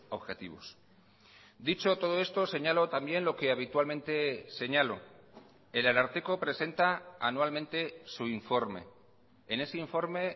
objetivos dicho todo esto señalo también lo que habitualmente señalo el ararteko presenta anualmente su informe en ese informe